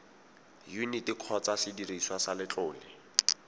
yuniti kgotsa sediriswa sa letlole